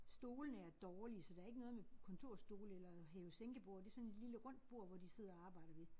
Stolene er dårlige så der ikke noget med kontorstole eller hæve-sænke-borde det sådan et lille rundt bord hvor de sidder og arbejder ved